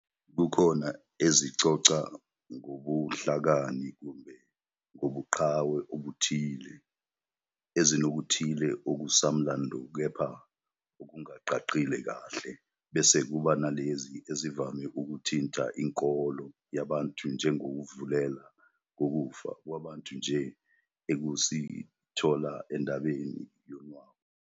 Kukhona ezixoxa ngobuhlakani kumbe ngobuqhawe obuthile, ezinokuthile okusamlando kepha okungacacile kahle. Bese Kuba nalezi ezivame ukuthinta inkolo yabantu njengokuvela kokufa kwabantu nje esikuthola endabeni yonwabu nentulo.